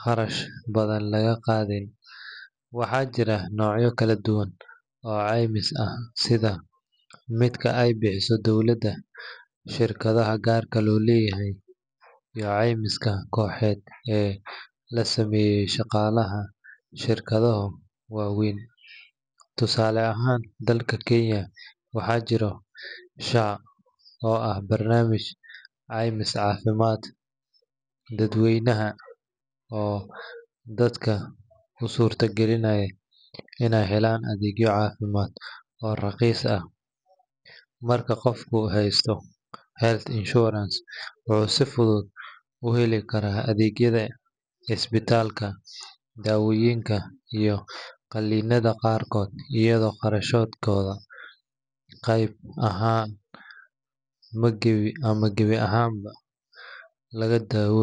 kharash badan laga qaadin. Waxaa jira noocyo kala duwan oo caymis ah sida midka ay bixiso dowladda, shirkadaha gaar loo leeyahay, iyo caymiska kooxeed ee loo sameeyo shaqaalaha shirkado waaweyn. Tusaale ahaan, dalka Kenya waxaa jira SHA oo ah barnaamij caymis caafimaad dadweyne oo dadka u suurtageliya inay helaan adeegyo caafimaad oo raqiis ah. Marka qofku heysto health insurance, wuxuu si fudud u heli karaa adeegyada isbitaalka, daawooyinka, iyo qalliinada qaarkood iyadoo kharashkooda qayb ahaan ama gebi ahaanba laga daboolayo.